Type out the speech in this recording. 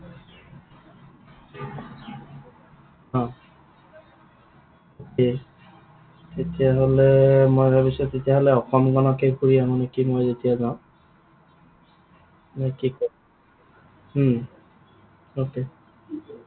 Okay তেতিয়াহলে মই ভাবিছো তেতিয়াহলে অসমখনকে ফুৰি আহো নেকি মই যেতিয়া যাওঁ। নে কি কোৱা? উম